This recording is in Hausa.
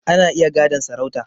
Ana iya gadon sarauta